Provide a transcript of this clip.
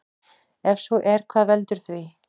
Ef svo er hvað veldur því?